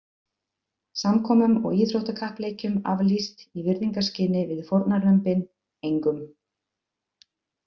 Samkomum og íþróttakappleikjum aflýst í virðingarskyni við fórnarlömbin: engum.